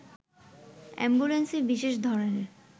অ্যাম্বুলেন্সে বিশেষ ধরনের